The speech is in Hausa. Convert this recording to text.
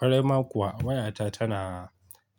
Kwarai ma kuwa wayata tana